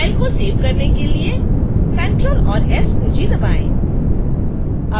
file को save करने के लिए ctrl और s कुंजी दबाएँ